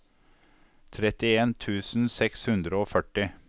trettien tusen seks hundre og førti